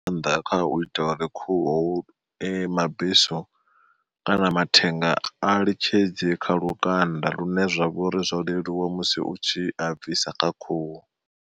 Nga maanḓa kha u ita uri khuhu mabesu kana mathenga a litshedze kha lukanda lune zwa vha uri zwo leluwa musi utshi a bvisa kha khuhu.